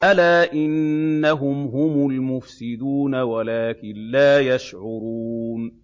أَلَا إِنَّهُمْ هُمُ الْمُفْسِدُونَ وَلَٰكِن لَّا يَشْعُرُونَ